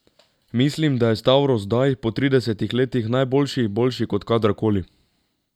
Mislim, da je Stavros zdaj, po tridesetih letih, najboljši, boljši kot kadarkoli.